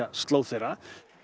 slóð þeirra